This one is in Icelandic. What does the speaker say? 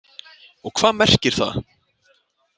Og hvað merkir það?